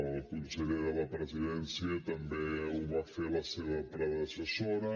el conseller de la presidència també ho va fer la seva predecessora